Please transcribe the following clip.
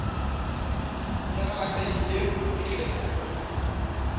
le e atlehileng ho fihlellwa